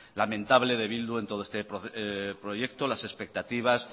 lamentable de bildu en todo este proyecto las expectativas